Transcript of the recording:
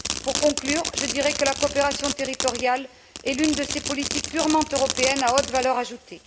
Pour conclure, je dirais que la coopération territoriale est l'une de ces politiques purement européenne à haute valeur ajoutée.